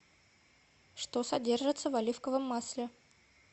что содержится в оливковом масле